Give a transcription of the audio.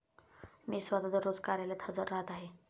मी स्वतः दररोज कार्यालयात हजर राहात आहे.